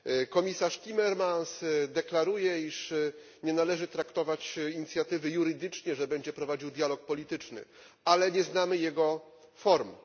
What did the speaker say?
Komisarz Timmermans deklaruje, że nie należy traktować inicjatywy jurydycznie, że będzie prowadził dialog polityczny, ale nie znamy jego formy.